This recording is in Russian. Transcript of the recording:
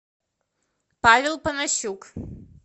павел панасюк